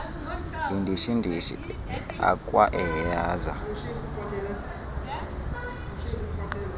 yindishi ndishi akwaaehaza